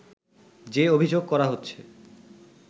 যে অভিযোগ করা হচ্ছে